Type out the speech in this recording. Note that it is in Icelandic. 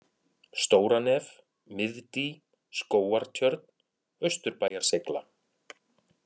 Stóranef, Miðdý, Skógartjörn, Austurbæjar-Seigla